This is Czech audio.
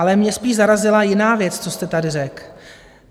Ale mě spíš zarazila jiná věc, co jste tady řekl.